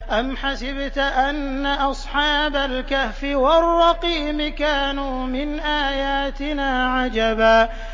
أَمْ حَسِبْتَ أَنَّ أَصْحَابَ الْكَهْفِ وَالرَّقِيمِ كَانُوا مِنْ آيَاتِنَا عَجَبًا